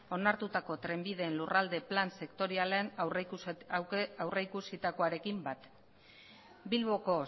onartutako trenbideen lurralde plan sektorialean aurrikusitakoarekin bat bilboko